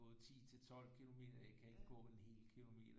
Gået 10 til 12 kilometer jeg kan ikke gå en hel kilometer